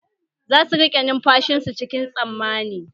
Za su rike numfashin su cikin tsammani